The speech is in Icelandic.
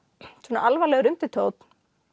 alvarlegur undirtónn